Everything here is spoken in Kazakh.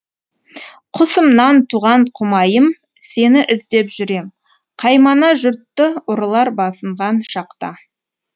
құсымнан туған құмайым сені іздеп жүрем қаймана жұртты ұрылар басынған шақта